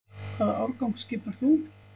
Hvaða árgang skipar þú?